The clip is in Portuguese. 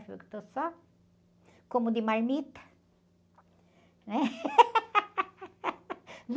Já que estou só, como de marmita.